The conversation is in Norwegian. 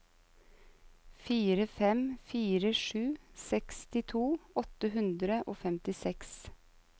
fire fem fire sju sekstito åtte hundre og femtiseks